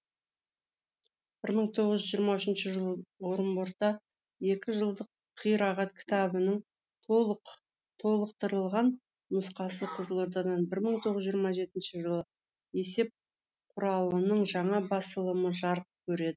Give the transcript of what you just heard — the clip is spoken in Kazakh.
бір мың тоғыз жүз жиырма үшінші жылы орынборда екі жылдық қирағат кітабының толықтырылған нұсқасы қызылордадан бір мың тоғыз жүз жиырма жетінші жылы есеп құралының жаңа басылымы жарық көреді